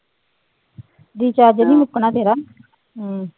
Recharge ਨੀ ਮੁੱਕਣਾ ਤੇਰਾ ਹਮ